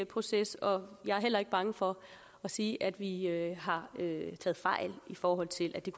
proces og jeg er heller ikke bange for at sige at vi har taget fejl i forhold til at det